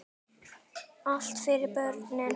Allt fyrir börnin.